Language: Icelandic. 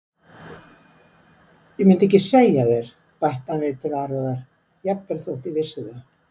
Og myndi ekki segja þér, bætti hann við til varúðar,-jafnvel þótt ég vissi það.